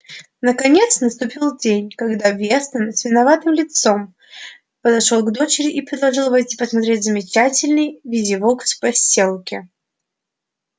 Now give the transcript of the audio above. наконец наступил день когда вестон с виноватым видом подошёл к дочери и предложил войти посмотреть замечательный визивокс в посёлке